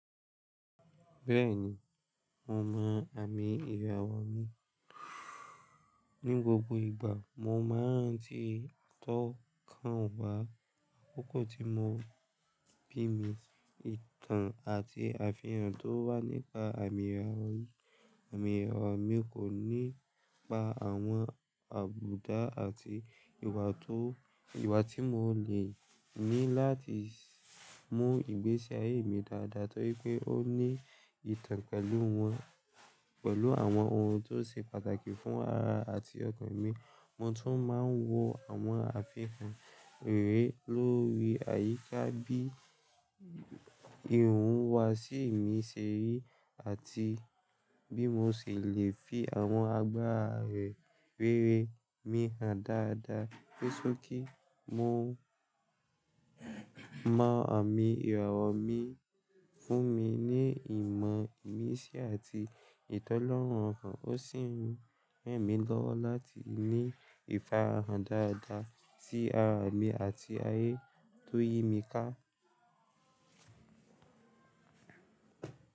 Bẹ́ẹ̀ni, mo mọ àmì ìrawo mi. Ní gbogbo ìgbà mo máa ń ranti tọ́ kan wá, àkókò tí mo bí mi, ìtàn àti àfihàn tó wà nípa àmì irawo yi ìrawo mi kò nípa àwọn àbùdá àti ìwà tó ìwà tí mo lè ní láti mú ìgbésí ayé mi dáadáa torí pé ó ní ìtàn pẹ̀lú wọn pẹ̀lú àwọn ohun tó ṣe pàtàkì fún ara àti ọkàn mi. Mo tún máa ń wo àwọn àfikún eré lórí àyíká bí ìwuwa si mi serí àti bí mo ṣe lè fi àwọn agbára rere mi hàn dáadáa. Ni sokí mo mọ àmì ìrawo mi fún mi ní ìmọ̀ ìmísí àti ìtọ́lẹ́rù ọkàn. Ó sì ń ranmí lọ́wọ́ láti ní ìfarahàn dáadáa sí ara mi àti ayé tó yí mi ká.